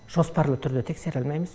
жоспарлы түрде тексере алмаймыз